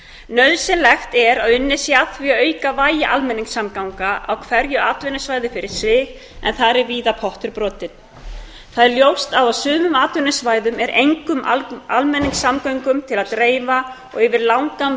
nauðsynlegt er að unnið sé að því að auka vægi almenningssamgangna á hverju atvinnusvæði fyrir sig en þar er víða pottur brotinn það er ljóst að á sumum atvinnusvæðum er engum almenningssamgöngum til að dreifa og yfir langan veg